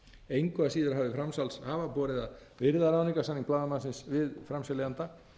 engu að síður hafi framsalshafa borið að virða ráðningarsamning blaðamannsins við framseljanda